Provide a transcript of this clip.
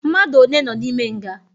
Mmadu one nọ n'ime nga?